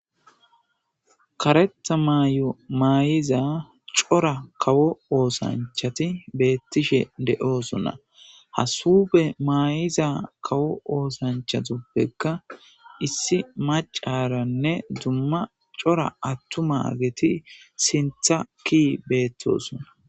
Karetha mayo maayiza cora kawo oosanchati beettishe de'oosonna hasube maayiza kawo oosanchatoppekka issi macaranne dumma cora attu ma geti sintha ki beettosonna